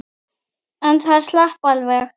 En það slapp alveg.